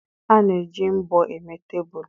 A na-eji mbọ eme tebụl.